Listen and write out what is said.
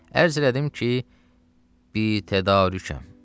Ərz elədim ki, bi tədarükəm.